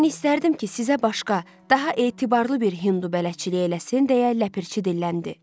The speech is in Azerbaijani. Mən istərdim ki, sizə başqa, daha etibarlı bir Hindu bələdçilik eləsin, deyə ləpirçi dilləndi.